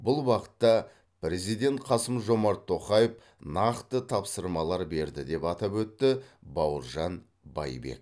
бұл бағытта президент қасым жомарт тоқаев нақты тапсырмалар берді деп атап өтті бауыржан байбек